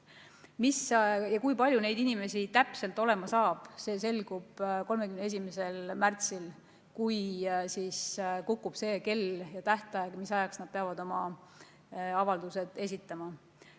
See, kui palju neid inimesi täpselt on, selgub 31. märtsil, siis kukub kell ja lõppeb tähtaeg, kui nad peavad oma avalduse olema esitanud.